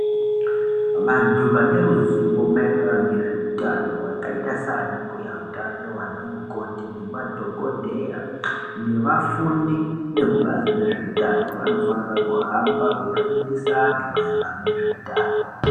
Vantu vane ruzivo maererano ngezve utano vakaita sana mbuya utano ana mukoti ne madhokodheya ne vafundi veku bazi rezve utano vanofanira kuhamba vei fundisa antu maererano nezve utano.